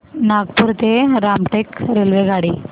नागपूर ते रामटेक रेल्वेगाडी